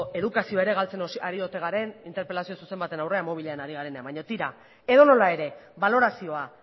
edukazioa ere galtzen ari ote garen interpelazio zuzen baten aurrean mobilarekin ari garenean baina tira edonola ere balorazioa